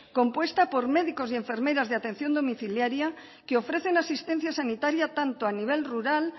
compuesta por médicos y enfermeras de atención domiciliaria que ofrecen asistencia sanitaria tanto a nivel rural